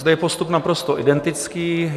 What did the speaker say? Zde je postup naprosto identický.